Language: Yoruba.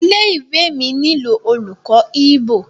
ilé-ìwé mí nilo olùkó Igbo.